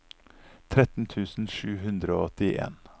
tretten tusen sju hundre og åttien